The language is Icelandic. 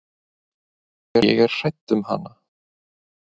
Ég er hrædd um hana.